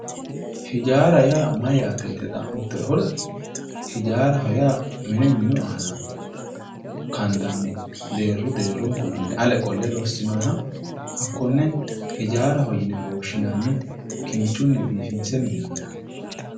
hijaara yaa mayyaate yite xa'mittoehura, hijaaraho yaa mine minu aana kandanni deeru deerunkunni ale qolle lossinoonniha hakkonne hijaarahowe yine woshshnanni, kinchunni biifinse minnoonniha .